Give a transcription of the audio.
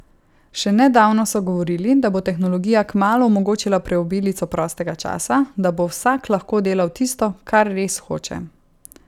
Še nedavno so govorili, da bo tehnologija kmalu omogočila preobilico prostega časa, da bo vsak lahko delal tisto, kar res hoče.